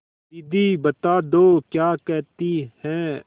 दीदी बता दो क्या कहती हैं